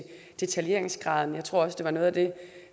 detaljeringsgraden jeg tror også det var noget af det